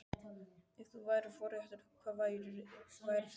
Ef þú værir forréttur, hvað værir þú?